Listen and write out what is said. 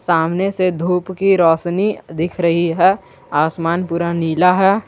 सामने से धूप की रोशनी दिख रही है आसमान पूरा नीला है।